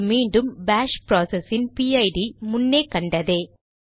இங்கு மீண்டும் bash process இன் பிஐடிPID முன்னே கண்டதே